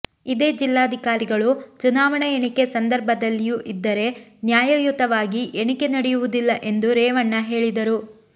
ಇದೇ ಜಿಲ್ಲಾಧಿಕಾರಿಗಳು ಚುನಾವಣಾ ಎಣಿಕೆ ಸಂದರ್ಭದಲ್ಲಿಯೂ ಇದ್ದರೆ ನ್ಯಾಯಯುತವಾಗಿ ಎಣಿಕೆ ನಡೆಯುವುದಿಲ್ಲ ಎಂದು ರೇವಣ್ಣ ಹೇಳಿದರು